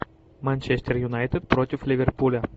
манчестер юнайтед против ливерпуля